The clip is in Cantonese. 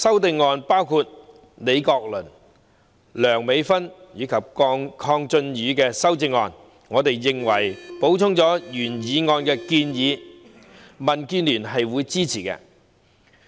對於李國麟議員、梁美芬議員及鄺俊宇議員的修正案，我們認為3項修正案補充了原議案的建議，民建聯會支持。